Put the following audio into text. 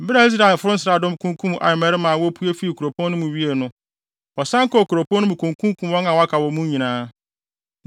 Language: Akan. Bere a Israelfo nsraadɔm kunkum Ai mmarima a wopue fii kuropɔn no mu wiee no, wɔsan kɔɔ kuropɔn no mu kokunkum wɔn a wɔaka wɔ mu nyinaa.